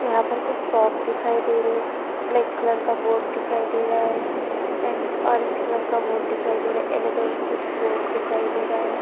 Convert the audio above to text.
यहाँ पर कुछ शॉप दिखाई दे रही हैं। ब्लैक कलर का बोर्ड दिखाई दे रहा है एण्ड ऑरेंज कलर का बोर्ड दिखाई दे रहा है येल्लो कलर का कुछ बोर्ड दिखाई दे रहा है।